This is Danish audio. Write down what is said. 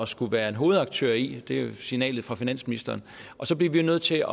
skulle være en hovedaktør i det er signalet fra finansministeren så bliver vi jo nødt til